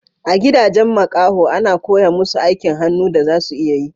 A gidajen makaho a na koya musu aikin hannu da za su iya yi